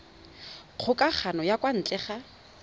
kgokagano ya kwa ntle ka